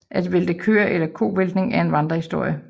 At vælte køer eller kovæltning er en vandrehistorie